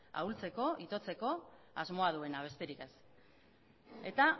ahultzeko itotzeko asmoa duena besterik ez eta